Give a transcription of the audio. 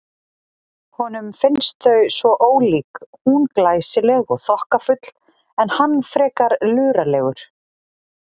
Honum finnst þau svo ólík, hún glæsileg og þokkafull en hann frekar luralegur.